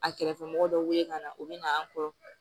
A kɛrɛfɛmɔgɔ dɔw wele ka na u bɛ na an kɔrɔ